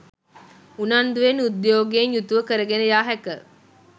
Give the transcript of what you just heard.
උනන්දුවෙන් උද්යෝගයෙන් යුතුව කරගෙන යා හැක.